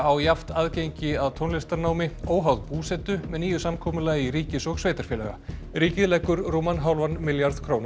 jafnt aðgengi að tónlistarnámi óháð búsetu með nýju samkomulagi ríkis og sveitarfélaga ríkið leggur til rúman hálfan milljarð króna